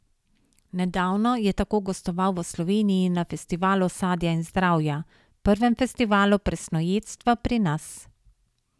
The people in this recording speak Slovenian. Nedavno je tako gostoval v Sloveniji na Festivalu sadja in zdravja, prvem festivalu presnojedstva pri nas.